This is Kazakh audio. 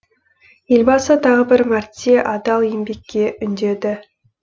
елбасы тағы бір мәрте адал еңбекке үндеді